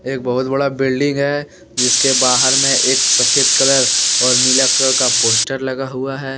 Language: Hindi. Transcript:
एक बहुत बड़ा बिल्डिंग है। जिसके बाहर में एक सफेद कलर और नीला कलर का पोस्टर लगा हुआ है।